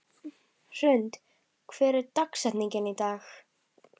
Hrund, hver er dagsetningin í dag?